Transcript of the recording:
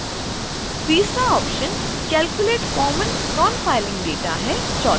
तीसरा option calculate common nonfiling data है